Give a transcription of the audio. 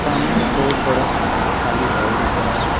हमें एक बहुत बड़ा सा खाली हाल दिख रहा है।